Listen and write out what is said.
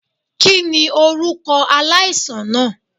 Kini orukọ alaisan naa?